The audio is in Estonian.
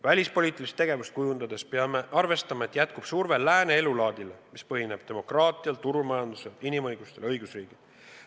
Välispoliitilist tegevust kujundades peame arvestama, et jätkub surve lääne elulaadile, mis põhineb demokraatial, turumajandusel, inimõigustel ja õigusriigil.